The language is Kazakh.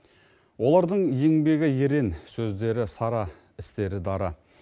олардың еңбегі ерен сөздері сара істері дара